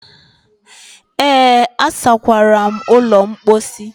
Ee, asakwara m ụlọ mposi.